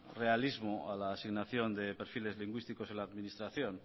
realismo a la asignación de perfiles lingüísticos en la administración